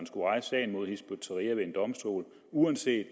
skulle rejse sagen mod hizb ut tahrir ved en domstol uanset